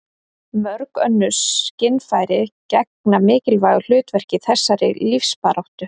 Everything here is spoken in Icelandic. mörg önnur skynfæri gegna mikilvægu hlutverki í þessari lífsbaráttu